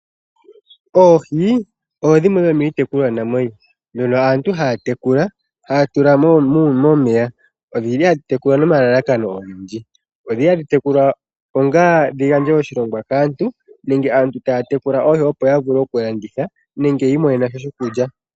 Oohi odho dhimwe dhomiitekulwanamwenyo mbono aantu haya tekula, haya tula momeya. odji li hadhi tekulwa nomalalakano ogendji. Odhi li hadhi tekulwa onga dhi gandje oshiyelelwa kaantu nenge aantu taya tekula oohi opo ya vule okulanditha nenge ya imonene sha shokulya.